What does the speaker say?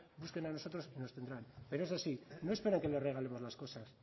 búsquenos y nos tendrán pero eso sí no esperen que les regalemos las cosas